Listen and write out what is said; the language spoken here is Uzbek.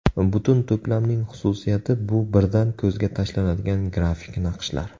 Butun to‘plamning xususiyati bu birdan ko‘zga tashlanadigan grafik naqshlar.